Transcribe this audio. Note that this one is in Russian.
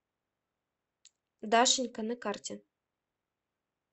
дашенька на карте